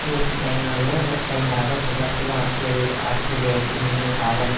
இதற்கு கைமாறாக கைமாறாக சுகார்டோ ஆஸ்திரியா ஆஸ்திரேலியாவிற்கு மிகுந்த சாதம்